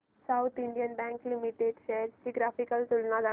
south Indian bank limited shares ची graphical तुलना दाखव